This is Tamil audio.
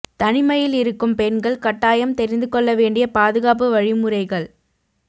தனிமையில் இருக்கும் பெண்கள் கட்டாயம் தெரிந்து கொள்ள வேண்டிய பாதுகாப்பு வழிமுறைகள்